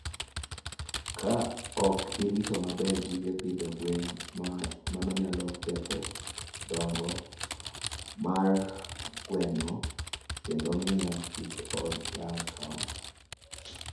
Ka ok orit maber gige pidho gwen, mano nyalo ketho dongo mar gwen kendo miyo kik ginyag tong'.